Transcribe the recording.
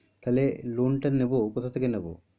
তাহলে loan টা নেবো কোথা থেকে নেবো?